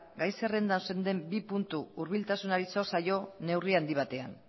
gai zerrendan zeuden bi puntu hurbiltasunari zor zaio neurri handi batean